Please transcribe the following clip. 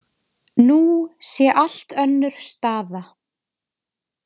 Nú sé allt önnur staða